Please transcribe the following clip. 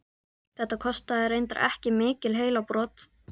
Þetta kostaði reyndar ekki mikil heilabrot.